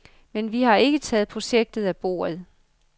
Men vi har ikke taget projektet af bordet.